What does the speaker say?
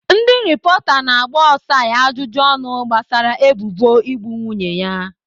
Ndị rịpọta na-agba Osai ajụjụ ọnụ gbasara ebubo igbu nwunye ya.